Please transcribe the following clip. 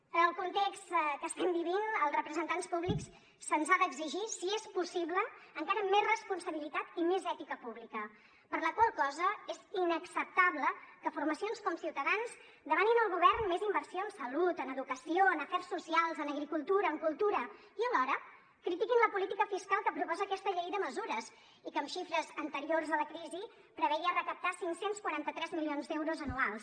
en el context que estem vivint als representants públics se’ns ha d’exigir si és possible encara més responsabilitat i més ètica pública per la qual cosa és inacceptable que formacions com ciutadans demanin al govern més inversió en salut en educació en afers socials en agricultura en cultura i alhora critiquin la política fiscal que proposa aquesta llei de mesures i que en xifres anteriors a la crisi preveia recaptar cinc cents i quaranta tres milions d’euros anuals